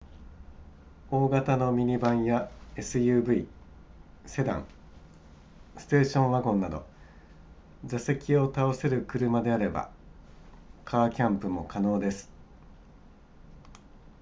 大型のミニバンや suv セダンステーションワゴンなど座席を倒せる車であればカーキャンプも可能です